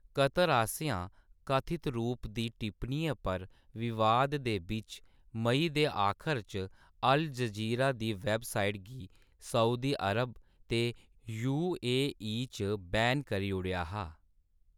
Qatar आसेआं कथत रूप दी टिप्पणियें पर विवाद दे बिच्च मेई दे आखर च अल जज़ीरा दी वैबसाइट गी सऊदी अरब ते यू. ए. ई. च बैन करी ओड़ेआ हा।